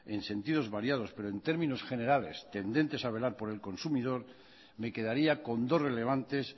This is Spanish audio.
en sentidos variados pero en términos generales tendentes a velar por el consumidor me quedaría con dos relevantes